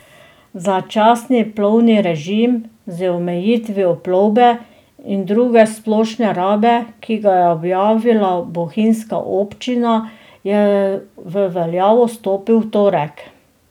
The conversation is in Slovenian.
Začasni plovbni režim z omejitvijo plovbe in druge splošne rabe, ki ga je objavila bohinjska občina, je v veljavo stopil v torek.